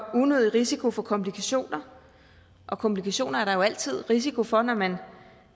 unødig risiko for komplikationer og komplikationer er der jo altid en risiko for når man